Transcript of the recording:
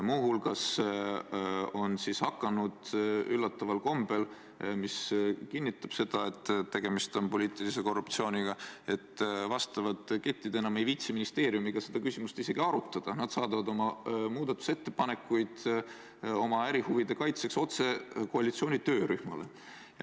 Muu hulgas on üllataval kombel läinud nii – ja see kinnitab, et tegemist on poliitilise korruptsiooniga –, et ketid enam ei viitsi ministeeriumiga seda küsimust arutada, nad saadavad muudatusettepanekud oma ärihuvide kaitseks otse koalitsiooni töörühmale.